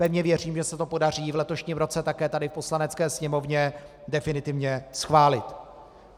Pevně věřím, že se to podaří v letošním roce také tady v Poslanecké sněmovně definitivně schválit.